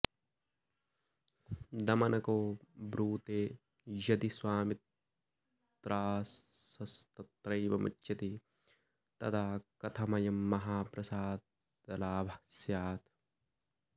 दमनको ब्रूते यदि स्वामित्रासस्तत्रैव मुच्यते तदा कथमयं महाप्रसादलाभः स्यात्